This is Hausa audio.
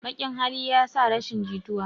Baƙn hali yasa rashin jituwa